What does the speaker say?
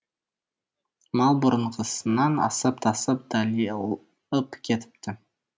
мал бұрынғысынан асып тасып далиып кетіпті